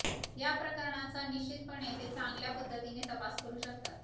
या प्रकरणांचा निश्चितपणे ते चांगल्या पद्धतीने तपास करू शकतात